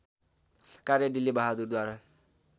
कार्य डिल्ली बहादुरद्वारा